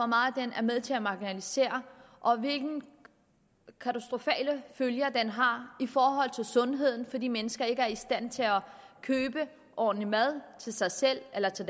meget den er med til at marginalisere og hvilke katastrofale følger den har i forhold til sundheden for de mennesker der ikke er i stand til at købe ordentlig mad til sig selv eller til